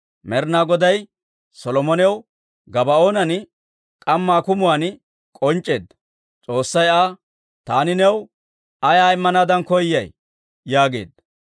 Med'inaa Goday Solomonaw Gabaa'oonan k'amma akumuwaan k'onc'c'eedda. S'oossay Aa, «Taani new ayaa Immanaadan koyay?» yaageedda.